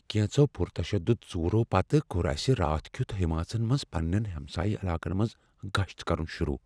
كینژو پُر تشدُد ژورو پتہٕ کور اسِہ راتھ کِیُت جمٲژن منٛز پننٮ۪ن ہمسایِہ علاقن منز گشت کرُن شروع ۔